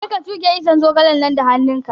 Je ka tuge iccen zogalen nan da hannun ka!